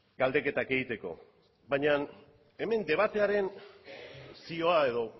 galdeketak egiteko baina hemen debatearen zioa edo